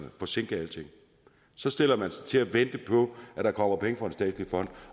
forsinke alting så stiller man sig til at vente på at der kommer penge fra en statslig fond